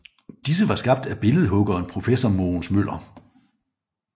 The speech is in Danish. Disse var skabt af billedhuggeren professor Mogens Møller